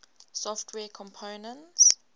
software components